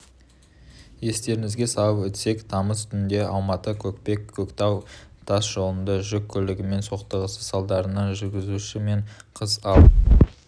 естеріңізге салып өтсек тамыз түнде алматы-көкпек-көктал тас жолында жүк көлігімен соқтығысты салдарынан жүргізушісі мен қыз алып